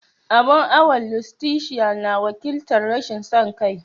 Abun awon Lustitia na wakiltar "Rashin son kai."